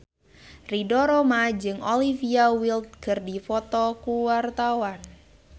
Ridho Roma jeung Olivia Wilde keur dipoto ku wartawan